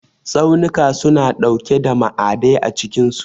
Tsaunuka suna ɗauke da ma'adai a cikinsu.